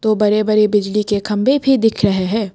वो बड़े बड़े बिजली के खंभे भी दिख रहे हैं।